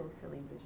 Você lembra, gente?